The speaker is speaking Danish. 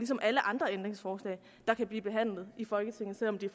som alle andre ændringsforslag der kan blive behandlet i folketinget selv om de